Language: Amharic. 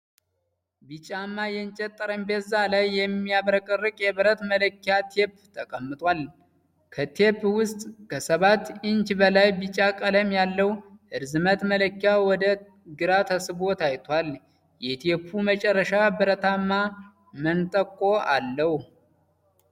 ቢጫማ የእንጨት ጠረጴዛ ላይ የሚያብረቀርቅ የብረት መለኪያ ቴፕ ተቀምጧል። ከቴፕ ውስጥ ከሰባት ኢንች በላይ ቢጫ ቀለም ያለው ርዝመት መለኪያ ወደ ግራ ተስቦ ታይቷል፣ የቴፕው መጨረሻ ብረታማ መንጠቆ አለው።